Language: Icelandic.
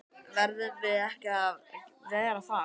Verðum við ekki að vera það?